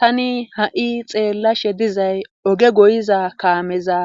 tani ha7i xeellashe dizay oge goyiza kaameza